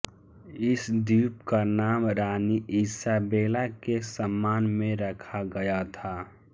इस द्वीप का नाम रानी ईसाबेला के सम्मान में रखा गया था